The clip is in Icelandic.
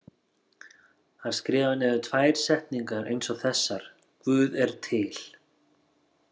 Hann skrifaði niður tvær setningar eins og þessar: Guð er til.